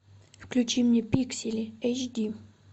включи мне пиксели эйч ди